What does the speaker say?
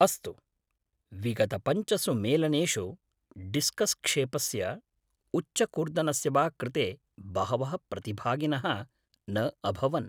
अस्तु, विगतपञ्चसु मेलनेषु डिस्कस् क्षेपस्य उच्चकूर्दनस्य वा कृते बहवः प्रतिभागिनः न अभवन्।